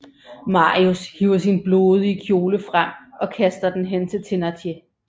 Marius hiver sin blodige kjole frem og kaster den hen til Thénardier